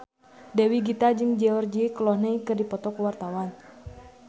Dewi Gita jeung George Clooney keur dipoto ku wartawan